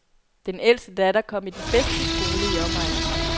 Den ældste datter kom i den bedste skole i omegnen.